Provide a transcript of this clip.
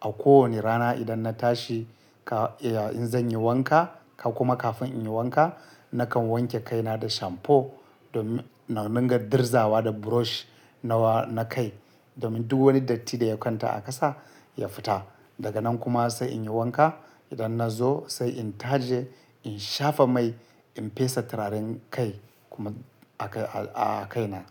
A kowane rana idan na tashi ka, ya, in zan yi wanka ka kuma kafin in yi wanka, nakan wanke kaina da shamfo domin na dunga dirzawa da brush nawa na kai domin duk wani datti da ya kwanta a ƙasa ya fita. Daga nan kuma sai in yi wanka. Idan na zo sai in taje in shafa mai, in fesa turaren kai kuma a kai, a, a kaina.